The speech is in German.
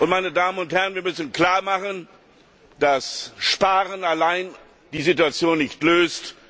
Meine Damen und Herren, wir müssen klar machen, dass Sparen allein die Situation nicht löst.